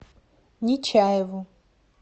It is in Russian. нечаеву